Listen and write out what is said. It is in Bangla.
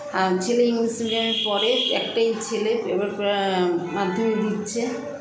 আ ছেলে english medium -এ পড়ে একটাই ছেলে এবার প্র মাধ্যমিক দিচ্ছে